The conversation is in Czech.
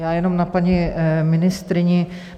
Já jenom na paní ministryni.